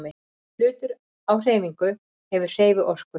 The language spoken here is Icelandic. Hlutur á hreyfingu hefur hreyfiorku.